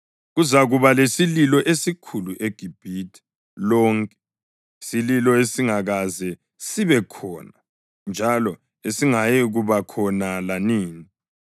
Kuzakuba lesililo esikhulu eGibhithe lonke, isililo esingakaze sibe khona njalo esingayikuba khona lanini.